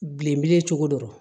Bilen cogo dɔ r